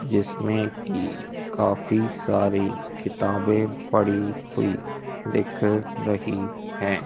जिसमें की काफी सारी किताबें पड़ी हुई दिख रही है।